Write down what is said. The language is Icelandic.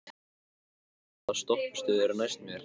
Hafliða, hvaða stoppistöð er næst mér?